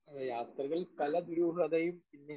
speaker 1 ഏ യാത്രകൾ പല ദുരൂഹതയും പിന്നെ